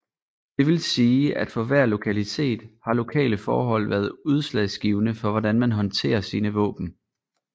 Det vil sige at for hver lokalitet har lokale forhold været udslagsgivende for hvordan man håndterer sine våben